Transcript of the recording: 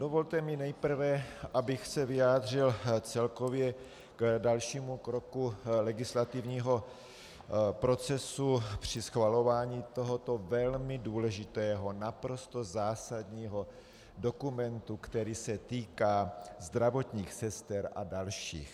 Dovolte mi nejprve, abych se vyjádřil celkově k dalšímu kroku legislativního procesu při schvalování tohoto velmi důležitého, naprosto zásadního dokumentu, který se týká zdravotních sester a dalších.